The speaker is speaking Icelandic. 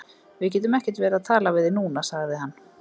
Við getum ekkert verið að tala við þig núna, sagði hann.